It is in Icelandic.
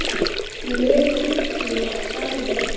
lega heilluð af starfi mínu.